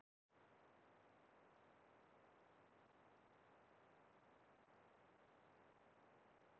Sá hinn sami er væntanlega aðeins að lýsa því yfir að hann ofsalega svangur.